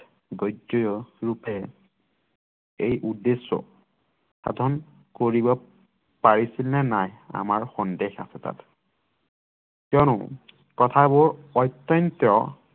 গদ্য ৰূপে এই উদ্দেশ্য সাধন কৰিব পাৰিছিল নে নাই আমাৰ সন্দেহ আছে তাত কিয়নো কথাবোৰ অত্যন্ত